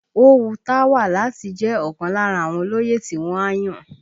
Ó wu Táwà láti jẹ́ ọ̀kan lára àwọn olóyè tí wọ́n á yàn